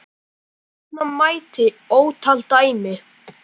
Nefna mætti ótal dæmi.